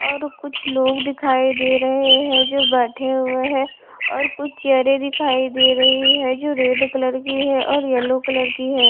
और कुछ लोग दिखाई दे रहे है जो बैठे हुए है और कुछ चेयरें दिखाई दे रही है जो रेड कलर की है और येलो कलर की है।